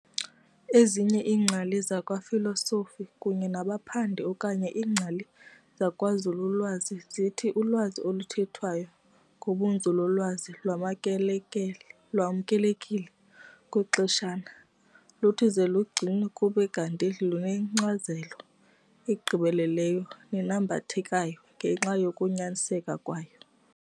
Ezinye iingcali zakwa Filosofi kunye nabaphandi okanye iingcali zakwanzululwazi zithi ulwazi oluthethwayo ngobunzululwazi lwamkelekile okwexeshana. Luthi ze lugcinwe kube kanti lunenkcazelo egqibeleleyo nenambithekayo ngenxa yokunyaniseka kwayo.